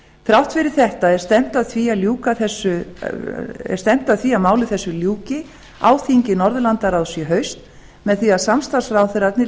þrátt fyrir þetta er stefnt að því að máli þessu ljúki á þingi norðurlandaráðs í haust með því að samstarfsráðherrarnir